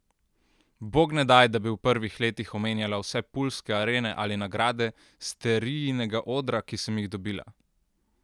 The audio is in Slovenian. Bog ne daj, da bi v prvih letih omenjala vse puljske arene ali nagrade Sterijinega odra, ki sem jih dobila!